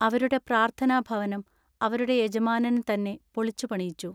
അവരുടെ പ്രാർത്ഥനാ ഭവനം അവരുടെ യജമാനൻ തന്നെ പൊളിച്ചു പണിയിച്ചു.